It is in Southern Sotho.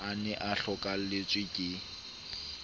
a ne a hlokahelletswe ke